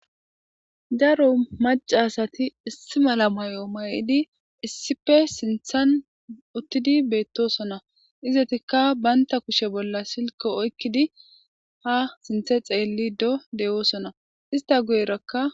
daro maca asati issi mala may'o may'idi issippe sinthan uttidi beettosona izatikka baynta kushe bolla silke oykkidi ha sinthe xeelli do de'oosona ista guyerakka